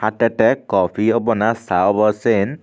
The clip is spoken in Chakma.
te kopi obow na cha obow siyen.